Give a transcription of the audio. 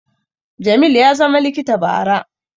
Jamil ya zama likita bara